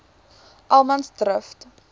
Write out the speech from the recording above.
allemansdrift